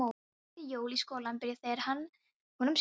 Svo mætti Jói í skólann bara þegar honum sýndist.